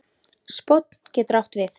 Spónn getur átt við